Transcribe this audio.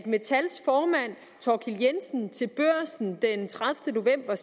metals formand thorkild e jensen sagde til børsen den tredivete november at